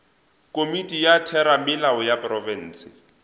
komiti ya theramelao ya profense